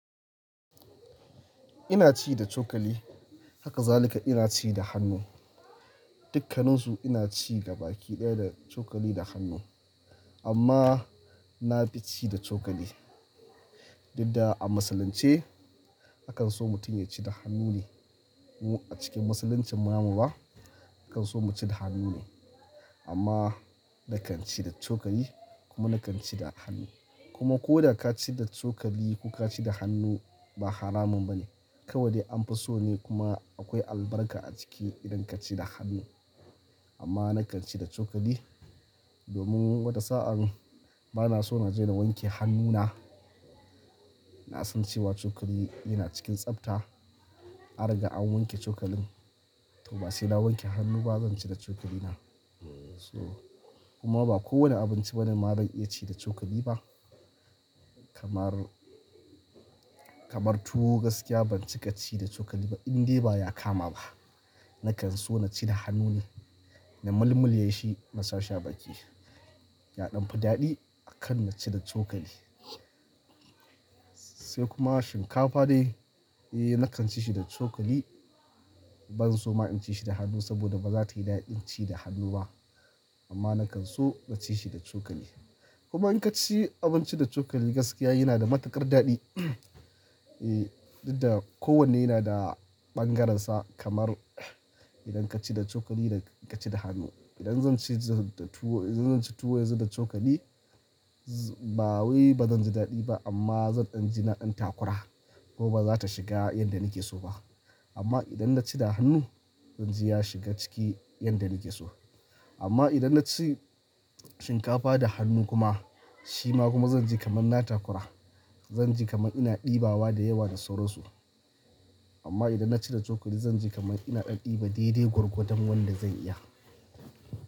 Ina ci da cokali, haka zalika ina ci da hannu. Dukkaninsu ina ci gaba ki ɗaya da cokali da hannu. Amma na fi ci da cokali. Dida a musulunce akan so mutum ya ci da hannu ne. Mu a cikin musuluncin mu amma ba akan so mu ci da hannu ne. Amma na kan ci da cokali kuma na kan ci da hannu. Kuma ko da ka ci da cokali ko ka ci da hannu ba haramun bane. Kawai dai an fi so ne kuma akwai albarka a ciki idan ka ci da hannu. Amma na kan ci da cokali domin wata sa'an bana so na je na wanke hannuna. Na san cewa cokali yana cikin tsafta, an riga an wanke cokalin. To ba sai na wanke hannu ba zan ci da cokali na. To kuma ba kowane abinci bane maran iya ci da cokali ba. Kamar, kamar tuwo gaskiya ban cika ci da cokali ba, indai baya kama ba. Na kan so na ci da hannu ne, na mulmul yashi na sha sha baki. Ya ɗan fi daɗi akan na ci da cokali. Sai kuma shinkafa dai, eh na kan ci shi da cokali. Ban so ma in ci shi da hannu saboda ba za ta yi daɗin ci da hannu ba. Amma na kan so na ci shi da cokali. Kuma in ka ci abinci da cokali gaskiya yana da matuƙar daɗi. Ehh, duk da kowanne yana da ɓangararsa kamar idan ka ci da cokali da ka ci da hannu. Idan zan ci tuwo, idan zan ci tuwo yanzu da cokali ba wai bazan ji daɗi ba amma zan ɗan ji na ɗan takura ko ba za ta shiga yanda nake so ba. Amma idan na ci da hannu zan ji ya shiga ciki yanda nake so. Amma idan na ci shinkafa da hannu kuma, shi ma kuma zan ji kamar na takura. Zan ji kamar ina ɗibawa da yawa da sauransu. Amma idan na ci da cokali zan ji kamar ina ɗan ɗiba daidai gwargwadon wanda zan iya.